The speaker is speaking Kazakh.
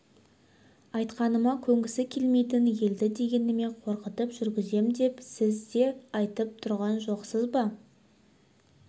айтқаныма көнгісі келмейтін елді дегеніме қорқытып жүргізем деп сіз де айтып тұрған жоқсыз ба